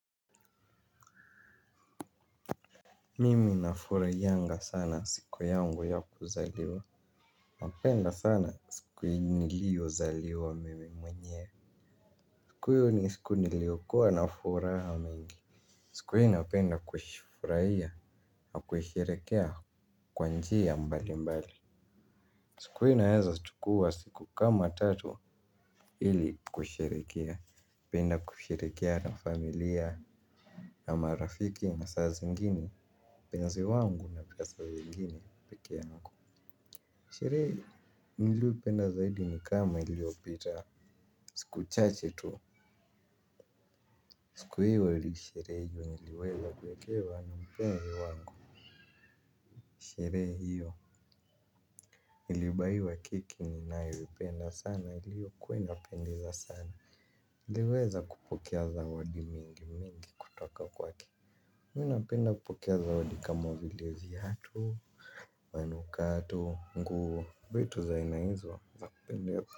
Mimi nafurahianga sana siku yangu ya kuzaliwa napenda sana siku nilio zaliwa mimi mwenyewe. Siku hiyo ni siku niliokua nafuraha mingi. Siku hiyo napenda kufurahia kuisherekea kwa njia mbali mbali. Siku hiyo naeza chukua siku kama tatu ili kuisherekea napenda kusherekea na familia na marafiki na saa zingine mpenzi wangu na pia saa ingine pekeangu. Sherehe nilioipenda zaidi ni kama iliopita siku chache tu. Siku hiyo nilisherehe juu niliweza kuekewa na mpenzi wangu, sherehe hiyo nilibaiwa keki ninayoipenda sana iliokua inapendeza sana niliweza kupokea zawadi mingi mingi kutoka kwake. Mimi napenda kupokea zawadi kama vile viatu manukato, nguo, vitu za aina hizo za kupendeza.